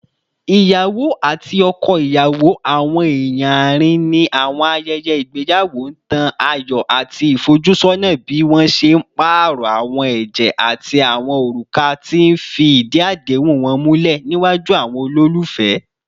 Iyawo ati ọkọ iyawo, awọn eeyan aarin ni awọn ayẹyẹ igbeyawo, n tan ayọ ati ifojusona bi wọn ṣe paarọ awọn ẹjẹ ati awọn oruka, ti n fi idi adehun wọn mulẹ niwaju awọn ololufẹ